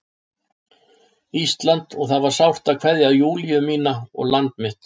Íslandi og það var sárt að kveðja Júlíu mína og land mitt.